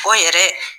O yɛrɛ